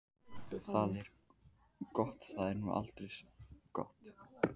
Það er gott, það er nú aldeilis gott.